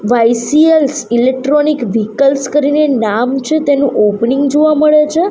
Electronic vehicles કરીને નામ છે તેનું ઓપનિંગ જોવા મળે છે.